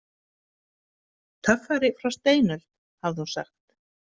Töffari frá steinöld, hafði hún sagt.